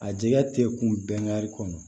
A jɛgɛ tɛ kun bɛɛ kari kɔnɔ